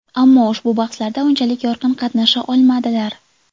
Ammo ushbu bahslarda unchalik yorqin qatnasha olmadilar.